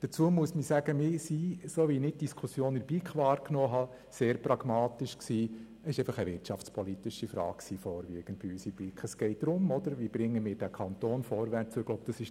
Dazu muss ich sagen, dass – so wie ich die Diskussion in der BiK verstanden habe – wir in der BiK sehr pragmatisch waren.